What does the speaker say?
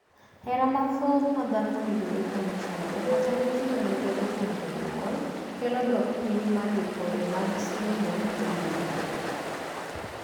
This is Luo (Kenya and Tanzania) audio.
Hera mathoth ma dhako ni godo kuom chuore, kata ma nyithindo ni godo kuom jonyuol, kelo dok piny mar ripode mag sendo ei udi.